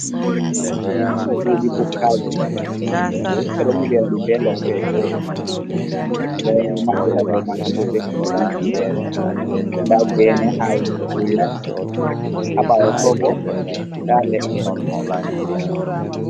Cuɗi bukaji ɓe ɗo nyiɓi ɗum ɓe lope, ɓe ɗo maɓɓira dow man bo ɓe titiji, nda gene ha yasso chuɗi man, ha ɓawo to bo nda leɗɗe.